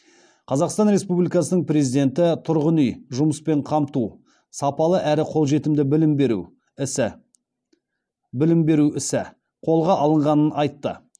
қазақстан республикасының президенті тұрғын үй жұмыспен қамту сапалы әрі қолжетімді білім беру ісі қолға алынғанын айтты